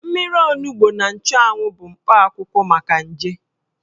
Mmiri onugbo na nchụanwụ bụ mkpa akwụkwọ maka nje.